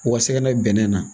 Wa bɛnnen na